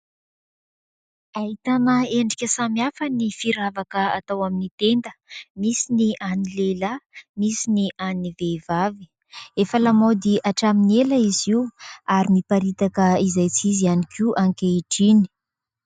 Ahitana endrika samihafa ny firavaka atao amin'ny tenda. Misy ny an'ny lehilahy, misy ny an'ny vehivavy. Efa lamaody hatramin'ny ela izy io ary miparitaka izay tsy izy ihany koa ankehitriny.